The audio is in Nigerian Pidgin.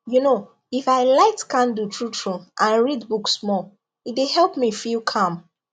you know if i light candle truetrue and read book small e dey help me feel calm